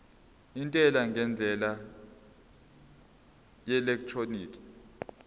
intela ngendlela yeelektroniki